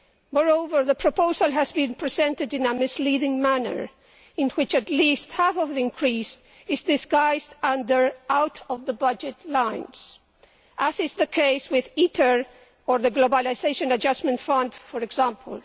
Moreover, the proposal has been presented in a misleading manner, in which at least half of the increase is disguised by keeping it out of the budget lines, as is the case with ITER or the Globalisation Adjustment Fund, for example.